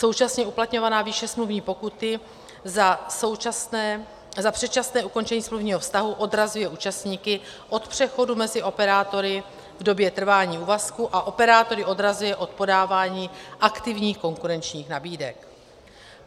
Současně uplatňovaná výše smluvní pokuty za předčasné ukončení smluvního vztahu odrazuje účastníky od přechodu mezi operátory v době trvání úvazku a operátory odrazuje od podávání aktivních konkurenčních nabídek.